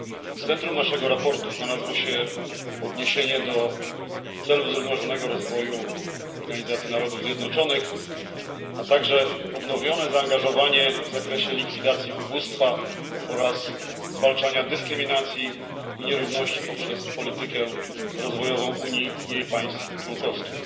W centrum naszego sprawozdania znalazło się odniesienie do celów zrównoważonego rozwoju Organizacji Narodów Zjednoczonych, a także odnowione zaangażowanie w likwidację ubóstwa oraz zwalczanie dyskryminacji i nierówności poprzez politykę rozwojową Unii i jej państw członkowskich.